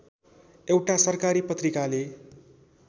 एउटा सरकारी पत्रिकाले